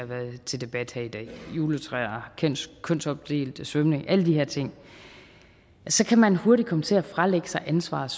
været til debat her i dag juletræer kønsopdelt svømning alle de her ting kan man hurtigt komme til at fralægge sig ansvaret